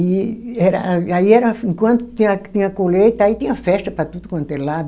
E era, aí era, enquanto tinha a, tinha a colheita, aí tinha festa para tudo quanto é lado.